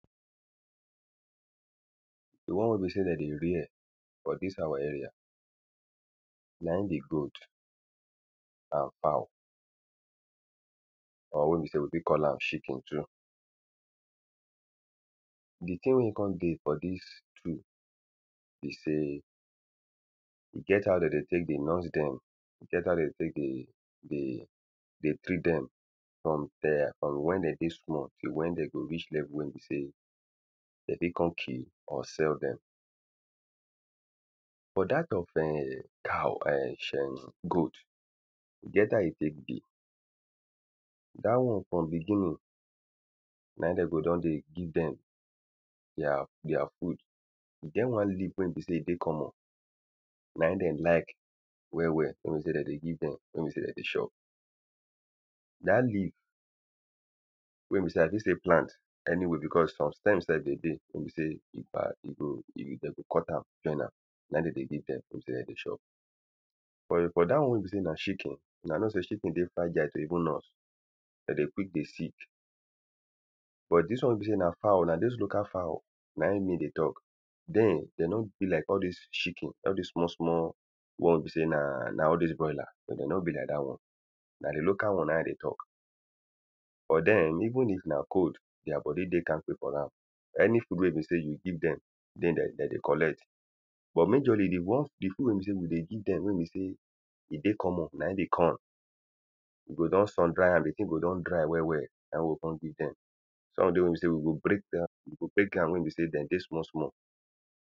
The one wey be sey de dey rare for dis our area na im be goat and fowl or wey be sey we fit call am chicken too. The thing wey e con dey for dis two be sey e get how de dey take dey nurse dem. E get how de take dey dey dey treat dem from dere from when de dey small till when de go reach level wey be sey de fit con kill or sell dem. For dat of ern cow ern [2] goat e get how e take be. Dat one from beginning na im de go don dey give dem their their food. E get one leaf wey be sey e dey common na im de like well well. Wey be sey de dey give dem, wey be sey de d.ey chop Dat leaf wey be sey i fit still plant anywhere because some stem self dey dey wey be sey if i e go if de go cut am join am. Na im de dey give dem wey be sey de dey chop. Ern for dat one wey be sey na chicken, huna know sey chicken dey fragile to even nurse. De dey quick dey sick. But dis one wey be sey na fowl, na dos local fowl na im me dey talk. Dem they no be like all dis chicken. All dis small small one wey be sey na na all dos broiler but de no be like dat one. Na the local one na im i dey talk. For dem, even if na cold their body dey kamkpe for am. Any food wey be sey you give dem they dem de dey collect. But majorly the ones the food wey be sey we dey give dem. When we sey e dey common na im be corn. We go don sun dry am. The thing go don dry well well. Na im we go con give dem Food wey be sey we go break dat, we go break wey be sey de dey small small.